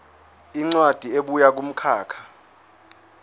incwadi ebuya kumkhakha